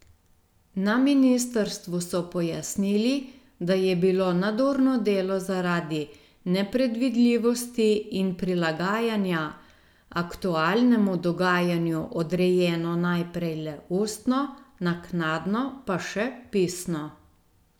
Na ministrstvu so pojasnili, da je bilo nadurno delo zaradi nepredvidljivosti in prilagajanja aktualnemu dogajanju odrejeno najprej le ustno, naknadno pa še pisno.